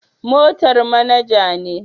Motar manager ne